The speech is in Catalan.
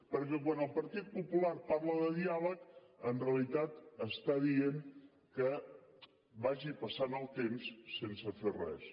perquè quan el partit popular parla de diàleg en realitat està dient que vagi passant el temps sense fer res